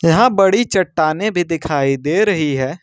यहां बड़ी चट्टानें भी दिखाई दे रही है।